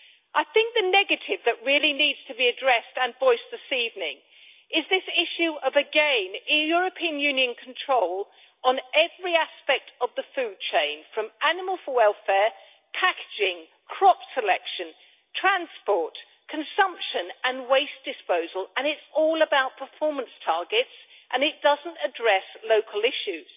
I think the negative that really needs to be addressed and voiced this evening is this issue again of European Union control on every aspect of the food chain, from animal health and welfare, packaging, crop selection, transport, consumption and waste disposal, and it is all about performance targets and does not address local issues.